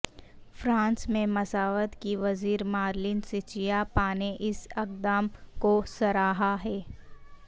France میں مساوات کی وزیر مارلین سچیاپا نے اس اقدام کو سراہا ہے